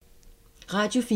Radio 4